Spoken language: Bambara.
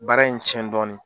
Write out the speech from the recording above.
Baara in tiɲɛn dɔɔnin.